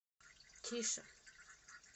тише